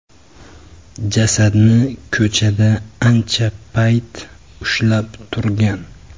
Jasadni ko‘chada ancha payt ushlab turgan.